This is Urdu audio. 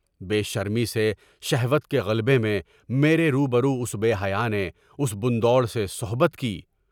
بے شرمی سے شہوت کے غلبے میں میرے روبرو اس بے حیا نے اس بندہ وڑ سے صحبت کی۔